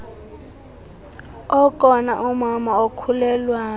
okona umama okhulelwayo